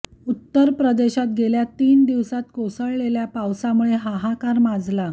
उत्तर प्रदेशात गेल्या तीन दिवसात कोसळलेल्या पावसामुळे हाहाकार माजला